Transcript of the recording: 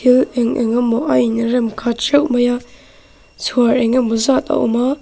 thil eng eng emaw a in rem khat theuh mai a chhuar engemaw zat a awm a.